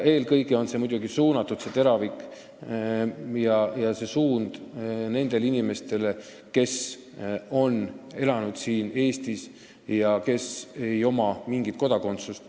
Eelkõige on teravik muidugi suunatud nendele inimestele, kes on elanud siin Eestis kaua ja kellel ei ole mingit kodakondsust.